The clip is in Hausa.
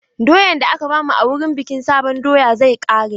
Doyan da aka ba mu wurin bikin sabon doya zai ƙare.